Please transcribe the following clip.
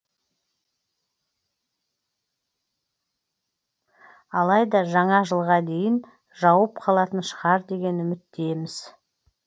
алайда жаңа жылға дейін жауып қалатын шығар деген үміттеміз